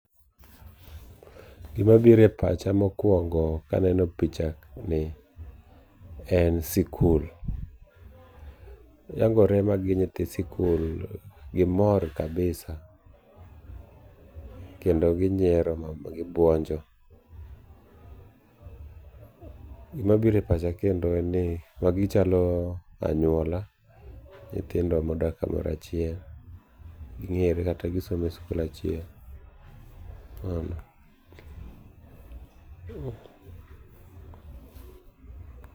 Gima biro e pacha mokuongo kaneno picha ni en sikul. Yangore magi nyithi sikul ,gimor kabisa kendo ginyiero ma gi buonjo. Gima biro e pacha kendo en ni magi chalo anyuola, nyithindo modak kamoro achiel ging'eree kata gisomo e sikul achiel